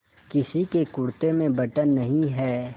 किसी के कुरते में बटन नहीं है